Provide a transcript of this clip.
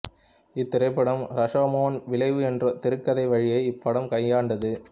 இத்திரைப்படம் ரஷோமோன் விளைவு என்றொரு திரைக்கதை வழியை இப்படம் கையாண்டது